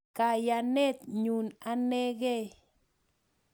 Kayanet nyu anegei